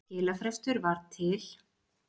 Skilafrestur var til